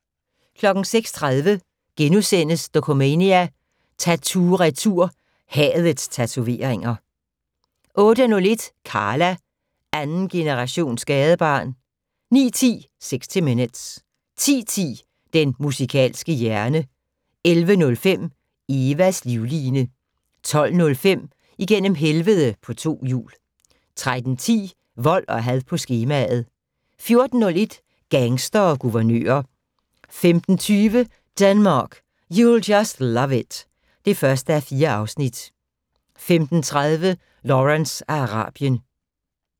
06:30: Dokumania: Tatoo-retur - hadets tatoveringer * 08:01: Karla - andengenerations gadebarn 09:10: 60 Minutes 10:10: Den musikalske hjerne 11:05: Evas livline 12:05: Igennem helvede på to hjul 13:10: Vold og had på skemaet 14:01: Gangstere og guvernører 15:20: Denmark, you'll just love it (1:4) 15:30: Lawrence af Arabien